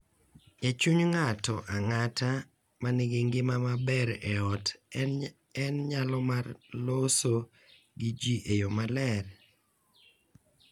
E chuny ng’ato ang’ata ma nigi ngima maber e ot en nyalo mar loso gi ji e yo maler.